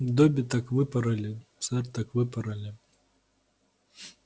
добби так выпороли сэр так выпороли